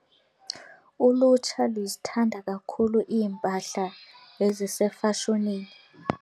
Ulutsha luzithanda kakhulu iimpahla ezisefashonini.